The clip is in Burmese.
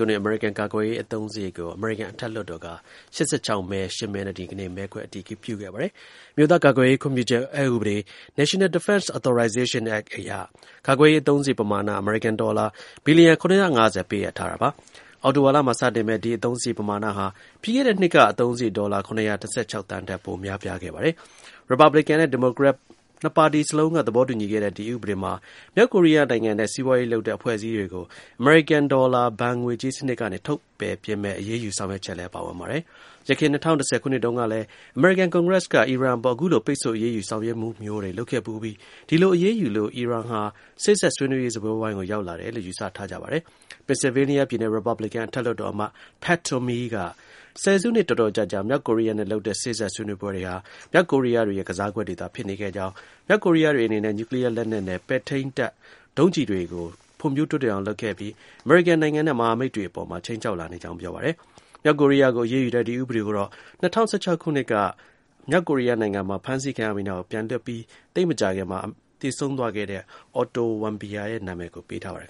ုနှစ်၊ အမေရိကန် ကာကွယ်ရေး အသုံးစရိတ်ကို အမေရိကန် အထက်လွှတ်တော်က ၈၆ မဲ ၈ မဲနဲ့ ဒီကနေ့ မဲခွဲ အတည်ပြုခဲ့ပါတယ်။ အမျိုးသား ကာကွယ်ရေး ခွင့်ပြုချက် အက်ဥပဒေ (National Defense Authorization Act) အရ ကာကွယ်ရေး အသုံးစရိတ် ပမာဏ အမေရိကန် ဒေါ်လာ ဘီလီယံ ၇၅၀ ပေးအပ်ထားပါတယ်။ အောက်တိုဘာလမှာ စတင်မယ့် ဒီ အသုံးစရိတ် ပမာဏဟာ ပြီးခဲ့တဲ့ နှစ် က အသုံးစရိတ် ဒေါ်လာ ၇၁၆ သန်းထက် ပိုများခဲ့ပါတယ်။ Republican နဲ့ ဒီမိုကရက် အများစု နှစ်ဘက်စလုံးက သဘောတူညီခဲ့တဲ့ ဒီ ဥပဒေမှာ မြောက်ကိုရီးယားနိုင်ငံနဲ့ စီးပွားရေးလုပ်တဲ့ အဖွဲ့အစည်းတွေကို အမေရိကန် ဘဏ်စနစ်ကနေ ပယ်ထုတ်မယ့် အရေးယူ ဆောင်ရွက်ချက် လည်း ပါဝင်ပါတယ်။ ယခင် ၂၀၁၀ ခုနှစ်တုန်းကလည်း အမေရိကန် ကွန်ဂရက်စ်က အီရန်အပေါ် အခုလို ပိတ်ဆို့ အရေးယူ ဆောင်ရွက်မှုမျိုး လုပ်ခဲ့ဖူးပြီး ဒီလို အရေးယူလို့ အီရန်ဟာ စေ့စပ်ဆွေးနွေးရေး စားပွဲဝိုင်းကို ရောက်လာတယ်လို့ ယူဆ ထားကြပါတယ်။ ပင်ဆယ်ဗေးနီးယား Republican အထက်လွှတ်တော် အမတ် Pat Toomey က ဆယ်စုနှစ် တော်တော်ကြာကြာ မြောက်ကိုရီးယားနဲ့ လုပ်တဲ့ စေ့စပ်ဆွေးနွေးပွဲတွေဟာ မြောက်ကိုရီးယားတွေရဲ့ ကစားကွက်တွေသာ ဖြစ်နေကြောင်း၊ မြောက်ကိုရီးယားတွေအနေနဲ့ နျူကလီးယားလက်နက်နဲ့ ပဲ့ထိန်းတပ် ဒုံးကျည်တွေကို ဖွံ့ဖြိုးတက်အောင်လုပ်ခဲ့ပြီး အမေရိကန်နိုင်ငံနဲ့ မဟာမိတ် နိုင်ငံတွေ အပေါ် ခြိမ်းခြောက်လာနေကြောင်း ပြောပါတယ်။ မြောက်ကိုရီးယားကို အရေးယူတဲ့ ဒီ ဥပဒေကိုတော့ ၂၀၁၆ ခုနှစ်က မြောက်ကိုရီးယားနိုင်ငံမှာ ဖမ်းဆီးခံရပြီးနောက် ပြန်လွှတ်ပြီး သိပ်မကြာခင် အမေရိကန်မှာ သေဆုံးသွားခဲ့တဲ့ Otto Warmbier ရဲ့ နာမည် ပေးထားပါတယ်